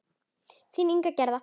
Þín Inga Gerða.